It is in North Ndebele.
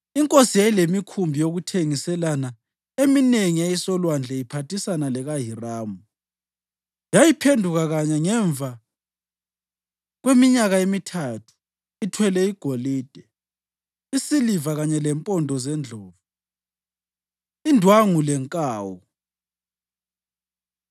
Inkosi yayilemikhumbi yokuthengiselana eminengi eyayisolwandle iphathisana lekaHiramu. Yayiphenduka kanye ngemva kweminyaka emithathu ithwele igolide, isiliva kanye lempondo zendlovu, indwangu lenkawu.